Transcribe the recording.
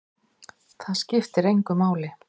Það skiptir engu máli!